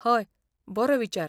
हय, बरो विचार.